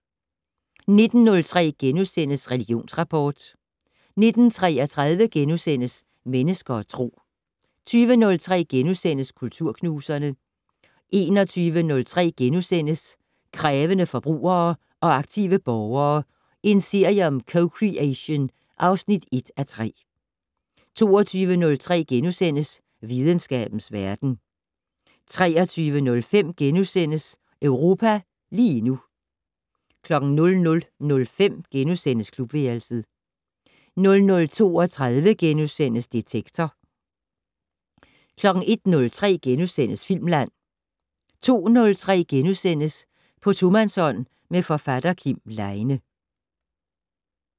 19:03: Religionsrapport * 19:33: Mennesker og Tro * 20:03: Kulturknuserne * 21:03: Krævende forbrugere og aktive borgere - en serie om co-creation (1:3)* 22:03: Videnskabens verden * 23:05: Europa lige nu * 00:05: Klubværelset * 00:32: Detektor * 01:03: Filmland * 02:03: På tomandshånd med forfatter Kim Leine *